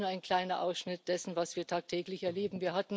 Und das ist nur ein kleiner Ausschnitt dessen, was wir tagtäglich erleben.